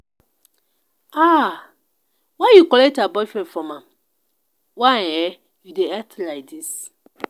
um why you collect her boyfriend from am? why um you dey act like dis?